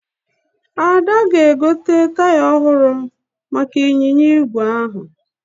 Ada ga-egote taya ọhụrụ maka ịnyịnya ígwè ahụ